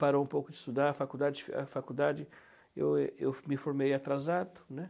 Parou um pouco de estudar, a faculdade, a faculdade, eu eu me formei atrasado, né?